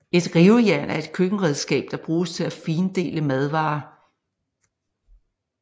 Et rivejern er et køkkenredskab der bruges til at findele madvarer